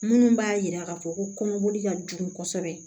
Minnu b'a yira k'a fɔ ko kɔnɔboli ka jugu kosɛbɛ